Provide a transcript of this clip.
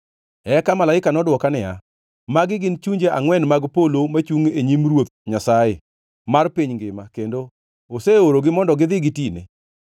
Eka malaika nodwoka niya, “Magi gin chunje angʼwen mag polo machungʼ e nyim Ruoth Nyasaye mar piny ngima kendo oseorogi mondo gidhi gitine.